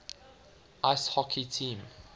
ice hockey team